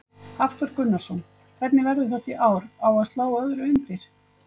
Hafþór Gunnarsson: Hvernig verður þetta í ár, á að slá öðru undir?